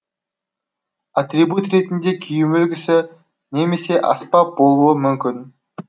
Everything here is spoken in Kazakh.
атрибут ретінде киім үлгісі немесе аспап болуы мүмкін